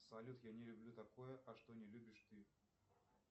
салют я не люблю такое а что не любишь ты